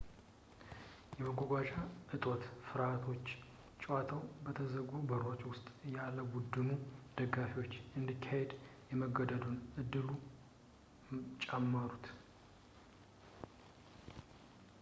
የመጓጓዣ እጦት ፍርሃቶች ጨዋታው በተዘጉ በሮች ውስጥ ያለቡድኑ ደጋፊዎች እንዲካሄድ የመገደዱን ዕድል ጨመሩት